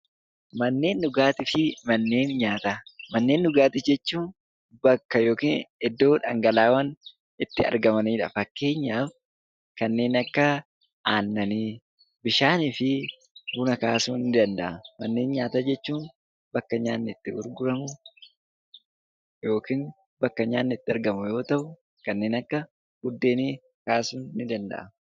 Manneen dhugaatii jechuun bakka yookiin iddoo dhangala'aawwan itti argamanidha. Fakkeenyaaf kanneen akka aannanii, bishaanii fi buna kaasuun ni danda'ama. Manneen nyaataa jechuun bakka nyaatni itti gurguramu yookiin bakka nyaatni itti argamu yoo ta'u, kanneen akka buddeenii kaasuun ni danda'ama.